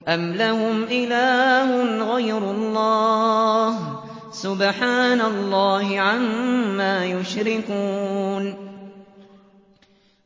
أَمْ لَهُمْ إِلَٰهٌ غَيْرُ اللَّهِ ۚ سُبْحَانَ اللَّهِ عَمَّا يُشْرِكُونَ